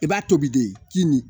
I b'a tobi de kini